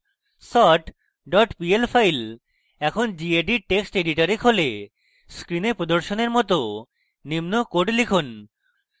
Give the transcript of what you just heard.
sort pl file এখন gedit text editor খোলে screen প্রদর্শনের মত নিম্ন code লিখুন